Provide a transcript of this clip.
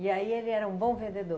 E aí ele era um bom vendedor?